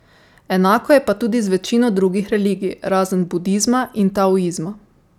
Enako je pa tudi z večino drugih religij, razen Budizma in Taoizma.